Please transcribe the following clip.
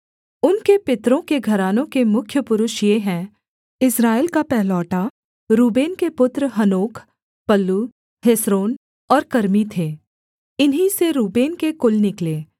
उनके पितरों के घरानों के मुख्य पुरुष ये हैं इस्राएल का पहिलौठा रूबेन के पुत्र हनोक पल्लू हेस्रोन और कर्मी थे इन्हीं से रूबेन के कुल निकले